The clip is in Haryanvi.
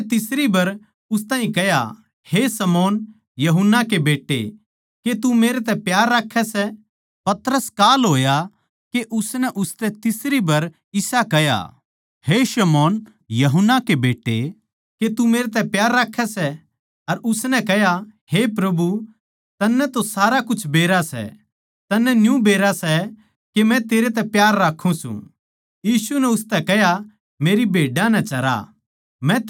उसनै तीसरी बर उस ताहीं कह्या हे शमौन यूहन्ना के बेट्टे के तू मेरतै प्यार राक्खै सै पतरस कांल होया के उसनै उसतै तीसरी बर इसा कह्या हे शमौन यूहन्ना के बेट्टे के तू मेरतै प्यार राक्खै सै अर उसतै कह्या हे प्रभु तन्नै तो सारा कुछ बेरा सै तन्नै न्यू बेरा सै के मै तेरै तै प्यार राक्खुं सूं यीशु नै उसतै कह्या मेरी भेड्डां नै चरा